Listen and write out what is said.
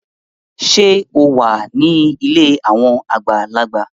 Ṣe o wá ní ilé awọn àgbàlagbà?